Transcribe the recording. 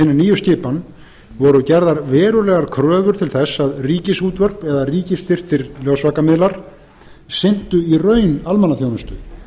nýju skipan voru gerðar verulegar kröfur til þess að ríkisútvörp eða ríkisstyrktir ljósvakamiðlar sinntu í raun almannaþjónustu